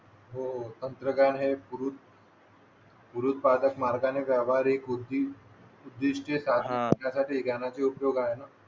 हो तंत्रज्ञान हे गुरु गुरुत्वागत मार्गाने व्यावहारिक बुध्दी उद्दिष्ट साधण्यासाठी ध्यानाचे उपयोग आहे ना